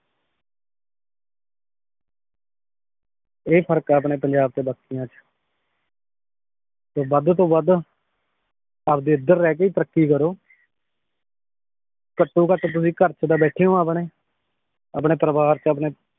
ਇਹ ਫਰਕ ਏ ਆਪਣੇ ਪੰਜਾਬ ਤੇ ਬਾਕੀਆਂ ਚ ਤੇ ਵੱਧ ਤੋਂ ਵੱਧ ਆਪਦੇ ਏਧਰ ਰਹਿ ਕੇ ਈ ਤਰੱਕੀ ਕਰੋ ਘੱਟੋਂ ਘੱਟ ਤੁਸੀ ਘਰ ਚ ਤਾਂ ਬੈਠੇ ਓ ਆਪਣੇ ਆਪਣੇ ਪਰਿਵਾਰ ਚ ਆਪਣੇ